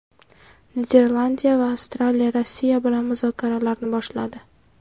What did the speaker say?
Niderlandiya va Avstraliya Rossiya bilan muzokaralarni boshladi.